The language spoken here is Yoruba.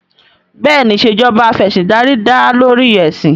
Bẹ́ẹ̀ni ìṣèjoba Af'ẹ̀sìndarí dá lórí ẹ̀sìn